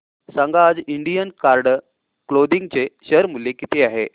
सांगा आज Indian Card Clothing चे शेअर मूल्य किती आहे